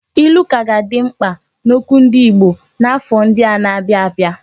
Ilu ka ga-adị mkpa n'okwu ndị Igbo n'afọ ndị na-abịa abịa.